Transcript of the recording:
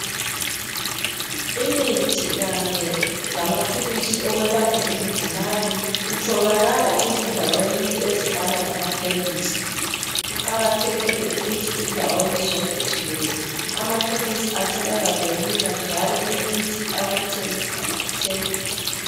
Imithi kanye lamaphilisi okwelapha izigulane kutholakala ezindaweni ezifana lamakhemisi. Kuqakathekile ukuthi endaweni zonke jikelele amakhemisi atholakale lula njalo imithi abayithengisayo ithengwe.